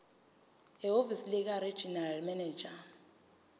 ehhovisi likaregional manager